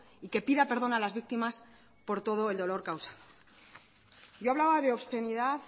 y que pida perdón a las víctimas por todo el dolor causado yo hablaba de obscenidad